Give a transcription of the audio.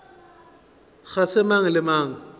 ga se mang le mang